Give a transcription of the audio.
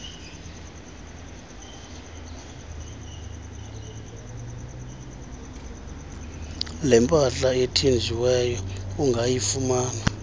lempahla ethinjiweyo ungayifumana